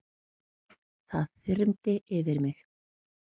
Það þyrmdi yfir mig.